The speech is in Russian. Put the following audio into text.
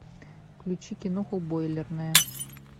включи киноху бойлерная